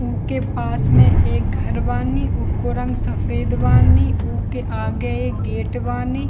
उके पास में एक घर बानी ऊको रंग सफेद बानी ऊके आगे एक गेट बानी --